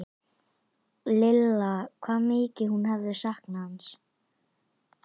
Lilla hvað mikið hún hafði saknað hans.